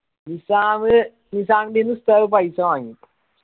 നിസ്സാമ്മ് നിസ്സാമിന്റെന്ന് ഉസ്താദ് paisa വാങ്ങി